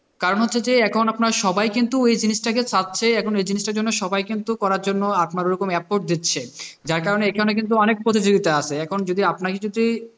কারণ হচ্ছে যে এখন আপনার সবাই কিন্তু ওই জিনিস টাকে ওই জিনিসটাকে করার জন্য সবাই কিন্তু করার জন্য আপনার ঐরকম efforts দিচ্ছে, যার কারণে এখানে কিন্তু অনেক প্রতিযোগিতা আছে এখন যদি আপনাকে যদি,